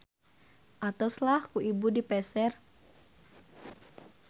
Atos lah ku ibu dipeser.